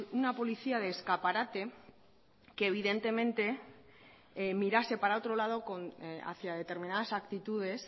una policía de escaparate que evidentemente mirase para otro lado hacia determinadas actitudes